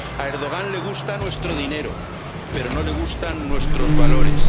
A Erdogan le gusta nuestro dinero, pero no le gustan nuestros valores.